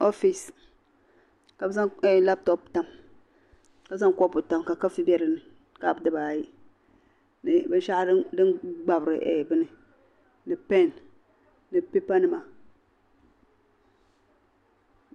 Ofise, kabi zaŋ labtop n tam ka zaŋ ka kopu tam ka kafe be. dini kapu diba ayi. ni bin shahu din gbabri bini ni pɛn ni. pipanima.